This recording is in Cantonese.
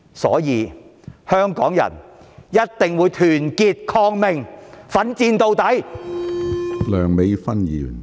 因此，香港人必須團結抗命，奮戰到底。